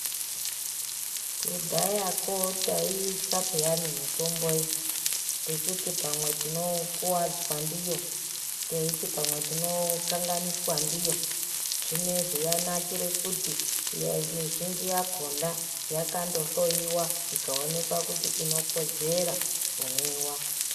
Kudhayako taiitya paani mitombo iyi techiti pamwe tinokuwadzwa ndiyo pamwe tinokakanganiswa ndiyo zvinezvi yanakire kuti mizhinji yakhona yakandohloyiwa ikaonekwa kuti inokodzera kumwiwa.